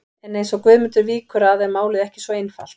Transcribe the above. En eins og Guðmundur víkur að er málið ekki svo einfalt.